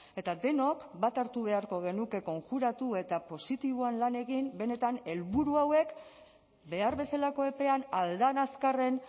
eta denok bat hartu beharko genuke konjuratu eta positiboan lan egin benetan helburu hauek behar bezalako epean ahal den azkarren